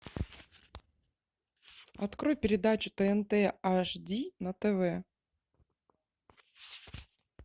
открой передачу тнт аш ди на тв